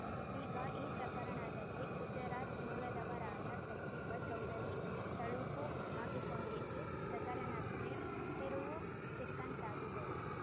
ಈಗ ಈ ಪ್ರಕರಣದಲ್ಲಿ ಗುಜರಾತ್‌ ಮೂಲದವರಾದ ಸಚಿವ ಚೌಧರಿ ತಳುಕು ಹಾಕಿಕೊಂಡಿದ್ದು ಪ್ರಕರಣಕ್ಕೆ ತಿರುವು ಸಿಕ್ಕಂತಾಗಿದೆ